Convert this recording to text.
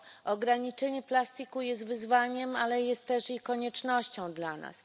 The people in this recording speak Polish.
Ograniczenie plastiku jest wyzwaniem, ale jest też i koniecznością dla nas.